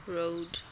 road